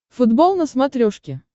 футбол на смотрешке